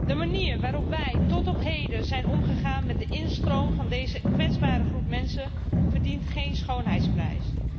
De manier waarop wij tot op heden zijn omgegaan met de instroom van deze kwetsbare groep mensen verdient geen schoonheidsprijs.